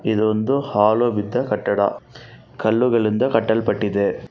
ಇದೊಂದು ಹಾಳು ಬಿದ್ದ ಕಟ್ಟಡ ಕಲ್ಲುಗಳಿಂದ ಕಟ್ಟಲ್ಪಟ್ಟಿದೆ.